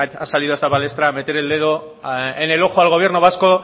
ha salido a esta palestra a meter el dedo en el ojo al gobierno vasco